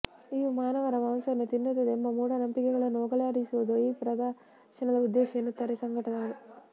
ಇವು ಮಾನವರ ಮಾಂಸವನ್ನು ತಿನ್ನುತ್ತವೆ ಎಂಬ ಮೂಢನಂಬಿಕೆಗಳನ್ನು ಹೋಗಲಾಡಿಸುವುದು ಈ ಪ್ರದರ್ಶನದ ಉದ್ದೇಶ ಎನ್ನುತ್ತಾರೆ ಸಂಘಟಕರು